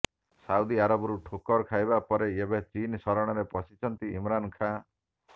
Saudi ଆରବରୁ ଠୋକର ଖାଇବା ପରେ ଏବେ ଚୀନ ଶରଣରେ ପଶିଛନ୍ତି ଇମ୍ରାନ ଖାଁ